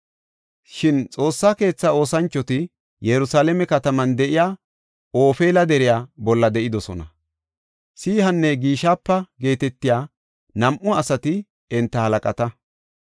Shin Xoossa keetha oosanchoti Yerusalaame kataman de7iya Ofeela deriya bolla de7idosona. Sihanne Gishipa geetetiya nam7u asati enta halaqata.